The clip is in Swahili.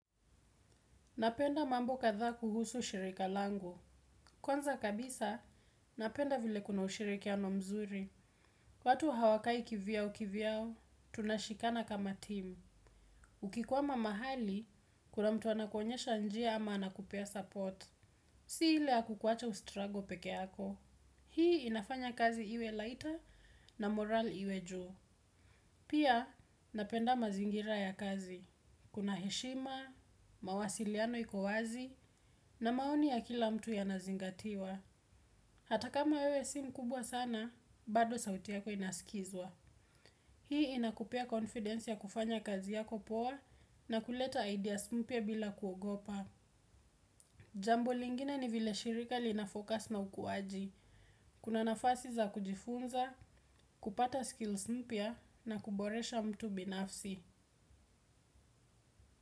Napenda mambo kadhaa kuhusu shirika langu. Kwanza kabisa, napenda vile kuna ushirikiano mzuri. Watu hawakai kivyao kivyao. Tunashikana kama team. Ukikwama mahali, kuna mtu anakuonyesha njia ama anakupea support. Si ile ya kukuwacha ustrago pekeako. Hii inafanya kazi iwe lighter na morale iwe juu. Pia, napenda mazingira ya kazi. Kuna heshima, mawasiliano iko wazi na maoni ya kila mtu yanazingatiwa. Hata kama wewe si mkubwa sana, bado sauti yako inaskizwa. Hii inakupea confidence y. Jambo lingine ni vile shirika lina focus na ukuaji. Kuna nafasi za kujifunza, kupata skills mpia na kuboresha mtu binafsi.